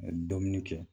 Dumuni kɛ